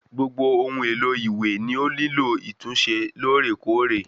Gbogbo ohun èlo ìwé ni o nilo ìtúnṣe lóòrèkóòrè